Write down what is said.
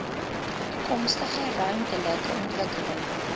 toekomstige ruimtelike ontwikkeling